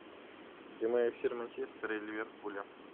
прямой эфир манчестера и ливерпуля